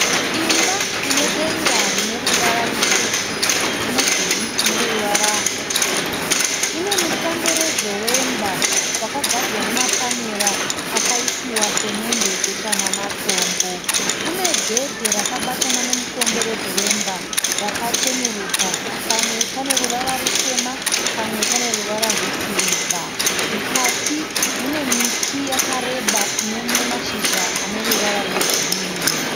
Imba ine denga rine ruvara rutsvuku nemudhuri une ruvara ruchena. Ine mukomberedzo wemba wakagadzirwa namapanera akaisiwa semende, jecha namatombo. Une gedhe rakabatana nemukomberedzo wemba rakachenuruka, pamwe pane ruvara rutema, pamwe pane ruvara rwesirivha. Mukati mune miti yakareba ine mashizha ane ruvara rwegirini